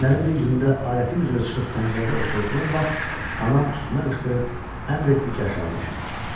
Günlərin bir günündə adətim üzrə çıxıb pəncərədə oturduğum vaxt anam üstümə qışqırıb əmr etdi ki, aşağı düşüm.